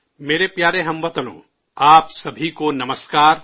میرے پیارے ہم وطنو، آپ سبھی کو نمسکار